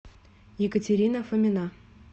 екатерина фомина